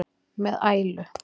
með ælu.